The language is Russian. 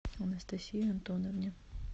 анастасии антоновне